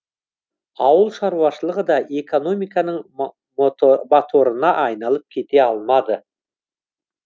ауылшаруашылығы да экономиканың моторына айналып кете алмады